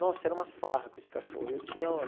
Nossa, era uma farra com esse cachorro. Eu tinha